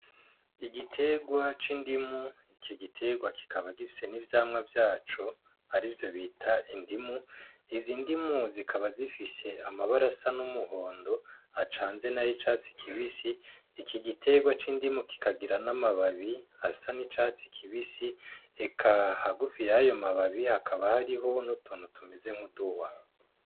Igitegwa c'indimu iki gitegwa kikaba gifise n'ivyamwa vyaco ari vyo bita indimu izi indimu zikaba zifishe amabarasa n'umuhondo acanze na yo icatsi kibisi iki gitegwa c'indimu kikagira n'amababi asa n'icatsi kibisi eka hagufiyayoa mababii hakaba hariho nutonto tumeze nkuduba.